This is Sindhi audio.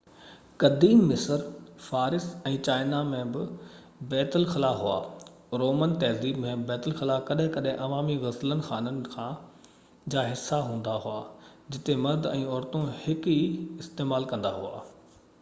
قديم مصر فارس ۽ چائنا ۾ بہ بيت الخلا هئا رومن تهذيب ۾ بيت الخلا ڪڏهن ڪڏهن عوامي غسل خانن جا حصا هندا هئا جتي مرد ۽ عورتون هڪ ئي استعمال ڪندا هئا